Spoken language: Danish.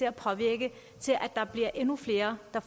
bliver endnu flere der